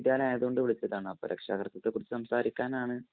ആയതുകൊണ്ട് വിളിച്ചതാണ്.അപ്പൊ രക്ഷാകര്‍ത്ത്വത്തെ കുറിച്ച് സംസാരിക്കാനാണ്